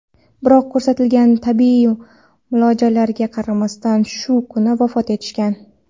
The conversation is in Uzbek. biroq ko‘rsatilgan tibbiy muolajalariga qaramasdan shu kuni vafot etishgan.